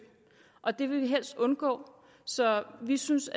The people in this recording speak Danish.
og det vil vi helst undgå så vi synes